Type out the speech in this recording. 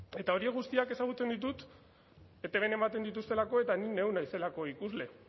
eta horiek guztiak ezagutzen ditut etbn ematen dituztelako eta ni neu naizelako ikusle